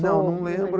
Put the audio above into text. Não, não lembro.